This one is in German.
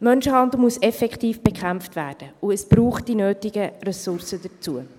Menschenhandel muss effektiv bekämpft werden, und es braucht die nötigen Ressourcen dazu.